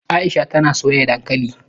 Aisha tana soya dankali